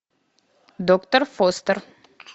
доктор фостер